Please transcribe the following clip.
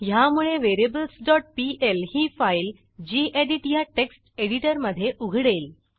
ह्यामुळे variablesपीएल ही फाईलgedit ह्या टेक्स्ट एडिटरमधे उघडेल